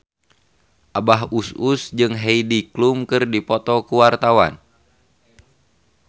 Abah Us Us jeung Heidi Klum keur dipoto ku wartawan